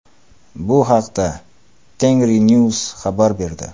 Bu haqda TengriNews xabar berdi .